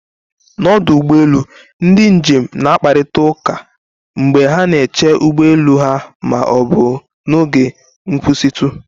N'ọdụ ụgbọ elu, ndị njem na-akparịta ụka mgbe ha na-eche ụgbọ elu ha ma ọ bụ n'oge nkwụsịtụ.